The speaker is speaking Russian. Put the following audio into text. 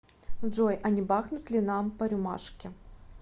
джой а не бахнуть ли нам по рюмашке